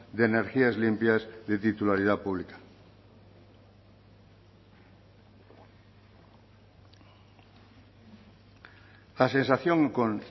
de energías limpias de titularidad pública la sensación con